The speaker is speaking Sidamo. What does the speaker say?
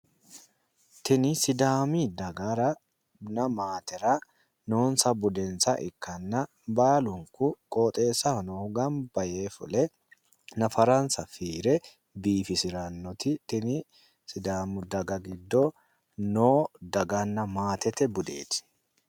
tini sidaami dagaranna maatera noonsa budensa ikkanna baalunku qooxeessaho ganba yee fule nafaransa fiire biifisirannoti tini sidaamu daga giddo no daganna matete budeeti.